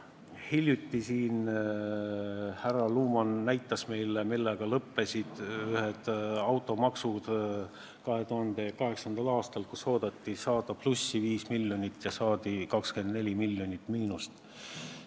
Hiljuti siin härra Luman näitas meile, millega lõppes automaks 2008. aastal: oodati 5 miljonit plussi ja saadi 24 miljonit miinust.